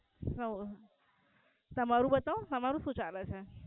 એવું. તમારું બતાવો તમારું શું ચાલે છે?